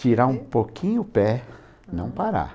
Tirar um pouquinho o pé, não parar.